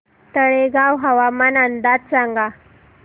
तळेगाव हवामान अंदाज सांगा